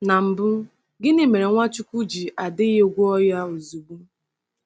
Na mbụ, gịnị mere Nwachukwu ji adịghị gwọọ ya ozugbo?